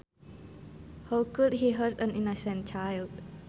How could he hurt an innocent child